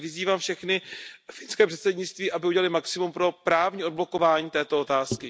Takže vyzývám všechny i finské předsednictví, aby udělali maximum pro právní odblokování této otázky.